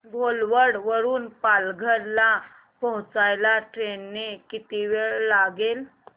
घोलवड वरून पालघर ला पोहचायला ट्रेन ने किती वेळ लागेल